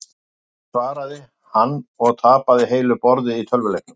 Ja, mamma mín svaraði hann og tapaði heilu borði í tölvuleiknum.